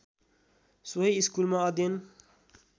सोही स्कुलमा अध्ययन